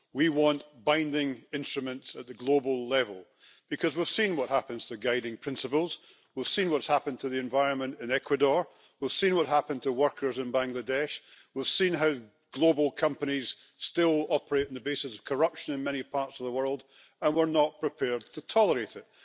We want binding instruments at the global level, because we have seen what happens to guiding principles, we have seen what has happened to the environment in Ecuador, we have seen what happens to workers in Bangladesh, we have seen how global companies still operate on the basis of corruption in many parts of the world, and we are not prepared to tolerate it.